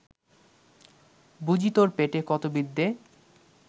বুজি তোর পেটে কত বিদ্যে